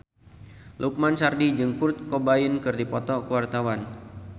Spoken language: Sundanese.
Lukman Sardi jeung Kurt Cobain keur dipoto ku wartawan